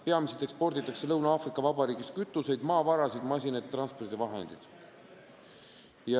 Peamiselt eksporditakse Lõuna-Aafrika Vabariigist kütust, maavarasid, masinaid ja transpordivahendeid.